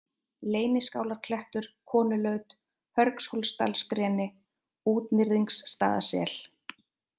Leyniskálarklettur, Konulaut, Hörghólsdalsgreni, Útnyrðingsstaðasel